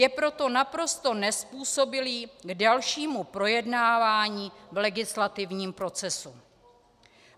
Je proto naprosto nezpůsobilý k dalšímu projednávání v legislativním procesu."